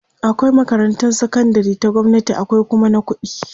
akwai makarantan sakandari ta gwamnati akwai Kuma na ƙuɗi